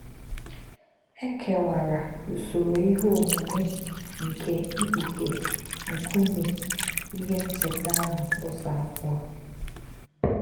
È kè̄wà̄rà̄ ūsòrò̄ íhè̄ ọ̀mùmè̄ nké̄ ìkpụ̀ghè̄ nkụ̀mè̄ íhè̄ nchètà̄ āhụ̄ Ụ́zọ̄ àbọ̣̄.